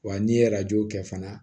Wa n'i ye arajo kɛ fana